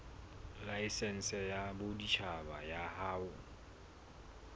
laesense ya boditjhaba ya ho